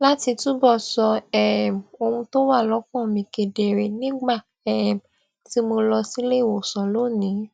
láti túbọ sọ um ohun tó wà lókàn mi kedere nígbà um tí mo lọ sílé ìwòsàn lónìí